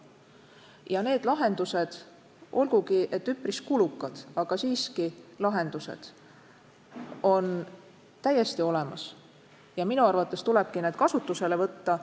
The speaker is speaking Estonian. Ja need lahendused, olgugi et üpris kulukad, on täiesti olemas ja minu arvates tulebki need kasutusele võtta.